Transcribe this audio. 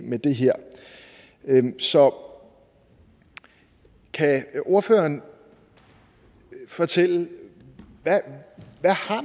med det her så kan ordføreren fortælle hvad